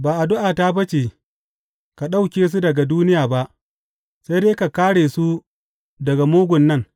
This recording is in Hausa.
Ba addu’ata ba ce ka ɗauke su daga duniya ba, sai dai ka kāre su daga mugun nan.